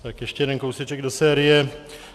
Tak ještě jeden kousíček do série.